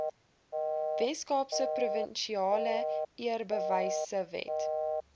weskaapse provinsiale eerbewysewet